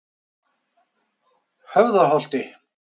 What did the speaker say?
Höfðaholti